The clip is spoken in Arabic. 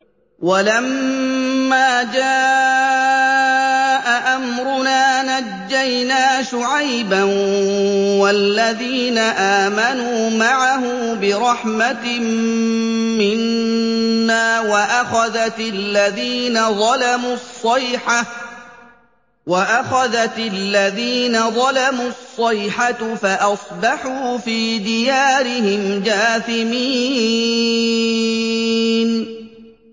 وَلَمَّا جَاءَ أَمْرُنَا نَجَّيْنَا شُعَيْبًا وَالَّذِينَ آمَنُوا مَعَهُ بِرَحْمَةٍ مِّنَّا وَأَخَذَتِ الَّذِينَ ظَلَمُوا الصَّيْحَةُ فَأَصْبَحُوا فِي دِيَارِهِمْ جَاثِمِينَ